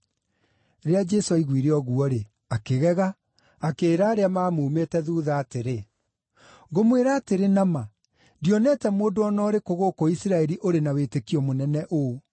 Rĩrĩa Jesũ aiguire ũguo-rĩ, akĩgega, akĩĩra arĩa maamumĩte thuutha atĩrĩ, “Ngũmwĩra atĩrĩ na ma, ndionete mũndũ o na ũrĩkũ gũkũ Isiraeli ũrĩ na wĩtĩkio mũnene ũũ.